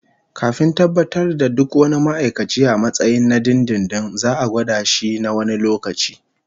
Kafin tabbatar da duk wani ma'aikaci a matsayin na dindindin, za'a gwada shi na wani lokaci